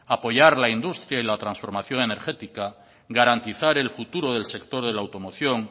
apoyar la industria y la trasformación energética garantizar el futuro del sector de la automoción